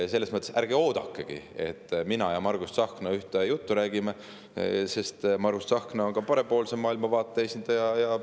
Selles mõttes ärge oodakegi, et mina ja Margus Tsahkna ühte juttu rääkima hakkame, sest Margus Tsahkna on parempoolse maailmavaate esindaja.